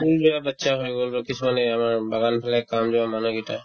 কোনবিলাক batches হৈ গ'ল বা কিছুমানে আমাৰ বাগানবিলাক কাম যোৱা মানুহকেইটা